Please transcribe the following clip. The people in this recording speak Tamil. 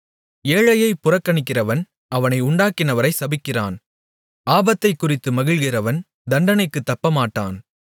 ஏழையைப் புறக்கணிக்கிறவன் அவனை உண்டாக்கினவரை சபிக்கிறான் ஆபத்தைக் குறித்துக் மகிழ்கிறவன் தண்டனைக்குத் தப்பமாட்டான்